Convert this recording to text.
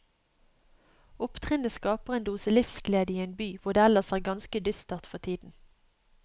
Opptrinnet skaper en dose livsglede i en by hvor det ellers er ganske dystert for tiden.